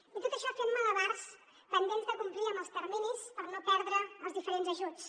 i tot això fent malabars pendents de complir amb els terminis per no perdre els diferents ajuts